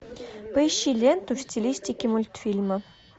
поищи ленту в стилистике мультфильмы